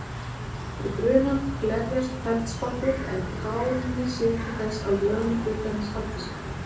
Við brunann glerjast feldspatið en kaólínið sér til þess að lögun hlutarins haldi sér.